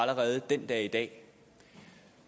allerede den dag i dag